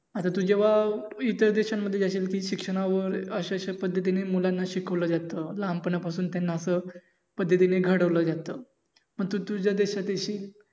आत्ता तू जेव्हा इतर देशांमध्ये जाशील कि शिक्षणावर अशा अशा पध्यतीने मुलांना शिकवलं जात. लहानपणापासून त्यांना असं पद्धतीन घडवलं जात. मग तू तुझ्या देशात येशील